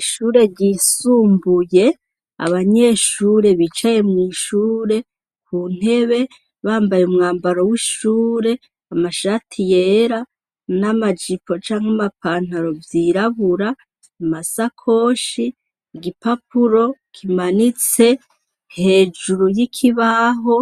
Ishure ryisumbuye, abanyeshure bicaye mw'ishure mu ntebe bambaye umwamabro w'ishure amashati yera n'amajipo canke ama pantaro vyirabura, amasakoshi, igipapuro kimanitse hejuru y'ikibaho,